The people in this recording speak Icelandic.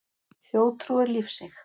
Þjóðtrú er lífseig.